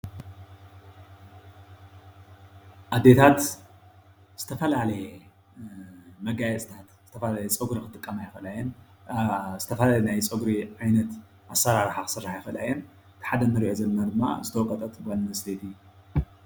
አዴታት ዝተፈላለየ መጋየፅታት ዝተፈላለየ ፀጉሪ ክጥቀማ ይክእላ እየን ዝተፈላለየ ናይ ፀጉሪ ዓይነት ኣሰራርሓ ክስራሓ ይክእላ እየን፡፡ እቲ ሓደ እንሪኦ ዘለና ድማ ዝተወቀጠት ጓል ኣነስተይቲ